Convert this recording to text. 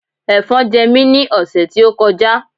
Ẹ̀fọn jẹ mí ní ọ̀sẹ̀ tí ó kọjá